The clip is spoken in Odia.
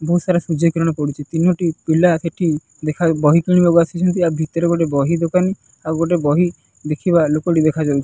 ବହୁତ୍ ସାରା ସୂର୍ଯ୍ୟକିରଣ ପଡ଼ୁଚି ତିନୋଟି ପିଲା ସେଠି ଦେଖା ବହି କିଣିବାକୁ ଆସିଛନ୍ତି ଆଉ ଭିତରେ ଗୋଟେ ବହି ଦୋକାନୀ ଆଉ ଗୋଟେ ବହି ଦେଖିବା ଲୋକଟି ଦେଖାଯାଉ --